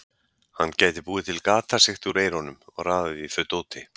Hann gæti búið til gatasigti úr eyrunum og raðað í þau dóti.